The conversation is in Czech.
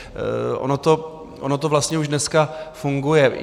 Ono to vlastně už dneska funguje.